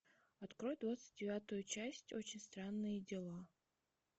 открой двадцать девятую часть очень странные дела